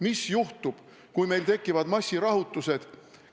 Mis juhtub, kui meil tekivad massirahutused?